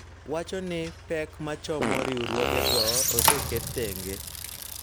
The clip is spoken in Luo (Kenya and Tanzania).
Wacho ni pek ma chomo riwruogego oseket thenge